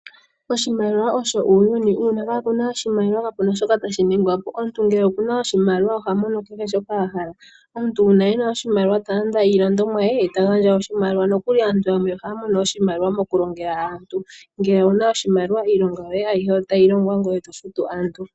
Oshimaliwa osho uunyuni uuna kapuna oshimaliwa kapuna shoka tashi ningwa po omuntu ngele okuna oshimaliwa ohamono kehe shoka a hala. Omuntu uuna ena oshimaliwa talanda iilandomwaye ye eta gandja oshimaliwa, nkokuli aantu yamwe ohaya mono oshimaliwa moku longela aantu ngele owuna oshimaliwa iilonga yoye ayihe otayi logwa ngwe eto futu aantu.